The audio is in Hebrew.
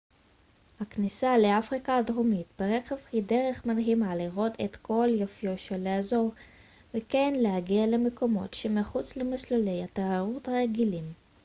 הכניסה לאפריקה הדרומית ברכב היא דרך מדהימה לראות את כל יופיו של האזור וכן להגיע למקומות שמחוץ למסלולי התיירות הרגילים